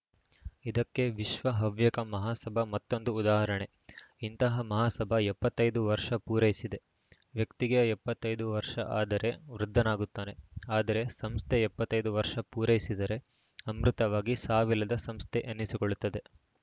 ಇದಕ್ಕೆ ವಿಶ್ವ ಹವ್ಯಕ ಮಹಾಸಭಾ ಮತ್ತೊಂದು ಉದಾಹರಣೆ ಇಂತಹ ಮಹಾಸಭಾ ಎಪ್ಪತ್ತ್ ಐದು ವರ್ಷ ಪೂರೈಸಿದೆ ವ್ಯಕ್ತಿಗೆ ಎಪ್ಪತೈದು ವರ್ಷ ಆದರೆ ವೃದ್ಧನಾಗುತ್ತಾನೆ ಆದರೆ ಸಂಸ್ಥೆ ಎಪ್ಪತ್ತ್ ಐದು ವರ್ಷ ಪೂರೈಸಿದರೆ ಅಮೃತವಾಗಿ ಸಾವಿಲ್ಲದ ಸಂಸ್ಥೆ ಎನಿಸಿಕೊಳ್ಳುತ್ತದೆ